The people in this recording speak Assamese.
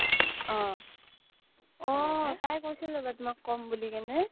অ' অহ তাই কৈছিল তোমাক কম বুলিকিনে